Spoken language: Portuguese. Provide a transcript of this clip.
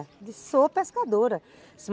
Eu disse, sou pescadora.